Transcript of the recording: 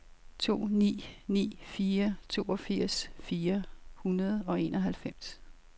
to ni ni fire toogfirs fire hundrede og enoghalvfems